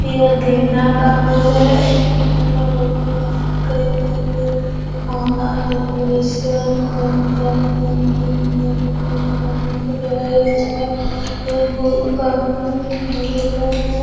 यह गेदा का फूल है गेदे का फूल है कई तरह के माला डेकोरेशन कई भी सजाए सकते है मंदिर भी सजा सकते है भगवान को चढ़ाए जाता है यह फूल काफ़ी सुन्दर दिख रहा है। .